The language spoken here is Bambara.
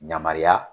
Yamariya